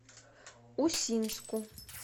усинску